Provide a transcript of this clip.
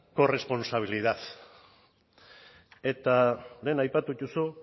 corresponsabilidad eta lehen aipatu dituzu